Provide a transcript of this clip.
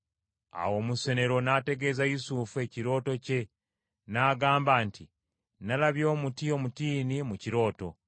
Awo omusenero n’ategeeza Yusufu ekirooto kye n’agamba nti, “Nalabye omuti omutiini mu kirooto.